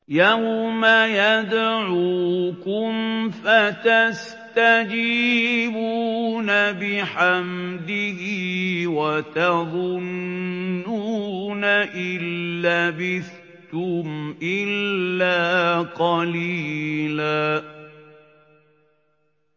يَوْمَ يَدْعُوكُمْ فَتَسْتَجِيبُونَ بِحَمْدِهِ وَتَظُنُّونَ إِن لَّبِثْتُمْ إِلَّا قَلِيلًا